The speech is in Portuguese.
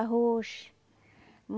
Arroz.